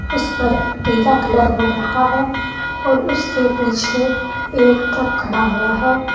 उसे पर पिला कलर हो रखा है और उसके पीछे एक ट्रक खड़ा हुआ है।